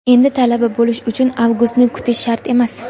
endi Talaba bo‘lish uchun Avgustni kutish shart emas!.